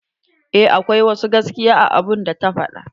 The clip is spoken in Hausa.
Eh akwai wasu gaskiya a abun da ta fada.